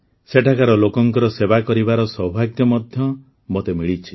ସେଠାକାର ଲୋକଙ୍କ ସେବା କରିବାର ସୌଭାଗ୍ୟ ମଧ୍ୟ ମୋତେ ମିଳିଛି